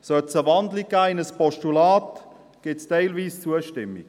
Sollte sie in ein Postulat gewandelt werden, gibt es eine teilweise Zustimmung.